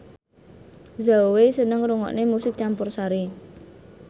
Zhao Wei seneng ngrungokne musik campursari